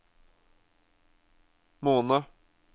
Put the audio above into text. måned